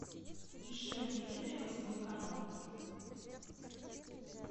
ищи на телевизоре восьмой канал